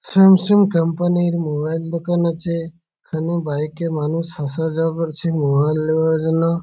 Samsung company এর mobile দোকান আছে। এখানে বাইক -এ মানুষ আসা যাওয়া করছে মোবাইল লেওয়ার জন্য।